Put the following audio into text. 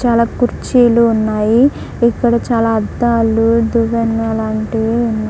చాలా కుర్చీలు ఉన్నాయి ఇక్కడ చాలా అద్దాలు దువ్వెనలు అలాంటివి ఉన్నా--